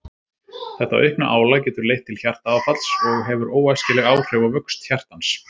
Þetta aukna álag getur leitt til hjartaáfalls og hefur óæskileg áhrif á vöxt hjartans.